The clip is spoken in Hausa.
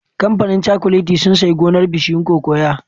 Kamfanin cakuletin sun sayi gonar bishiyun cocoa